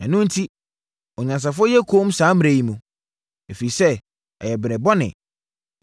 Ɛno enti, ɔnyansafoɔ yɛ komm saa mmerɛ yi mu, ɛfiri sɛ, ɛyɛ mmerɛ bɔne.